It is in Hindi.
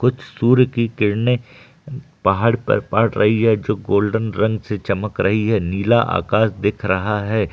कुछ सूर्य की किरणे पहाड़ पर पड रही है जो गोल्डन रंग से चमक रही है नीला आकाश दिख रहा है।